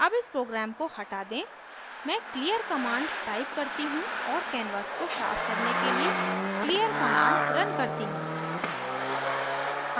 अब इस program को हटा दें मैं clear command type करती हूँ और canvas को साफ करने के लिए clear command रन करती हूँ